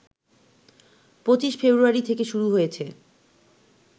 ২৫ February থেকে শুরু হয়েছে